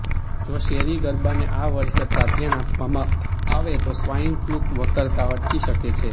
જો શેરી ગરબાને આ વર્ષે પ્રાધાન્ય આપવામાં આવે તો સ્વાઇન ફ્લૂ વકરતા અટકી શકે છે